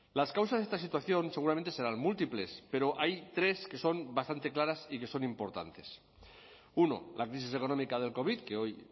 las causas de esta situación seguramente serán múltiples pero hay tres que son bastante claras y que son importantes uno la crisis económica del covid que hoy